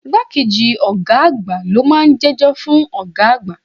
Igbá kejì ọ̀gá àgbà lo máa ń jẹ́jọ́ fún ọ̀gá àgbà.